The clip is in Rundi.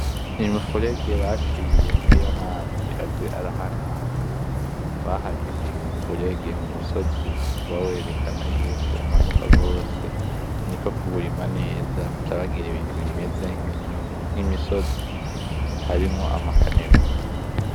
Imifurege baciye kugira amazi aze ara hana hana, baharimye kumifurege n'umusozi uba werekana yuko umanuka gose niko kuwurima neza bacabagira ibintu bimeze nk'imisozi harimwo ama kanivo.